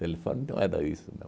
Telefone não era isso não.